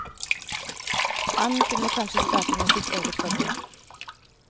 Han kunne kanskje starte med sitt eget forbund.